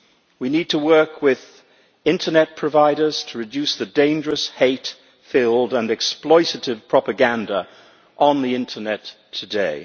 We need to work with internet providers to reduce the dangerous hate filled and exploitative propaganda on the internet today.